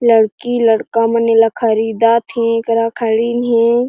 लड़की-लड़का मन एला ख़रीदा थे येकरा खड़ीन हे।